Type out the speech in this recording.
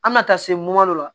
An bɛ na taa se dɔ la